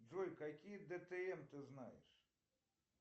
джой какие дтм ты знаешь